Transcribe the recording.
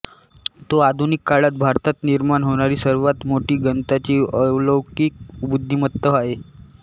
तो आधुनिक काळात भारतात निर्माण होणारी सर्वात मोठी गणिताची अलौकिक बुद्धिमत्ता आहे